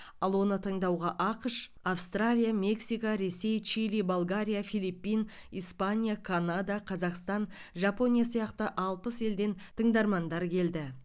ал оны тыңдауға ақш австралия мексика ресей чили болгария филиппин испания канада қазақстан жапония сияқты алпыс елден тыңдармандар келді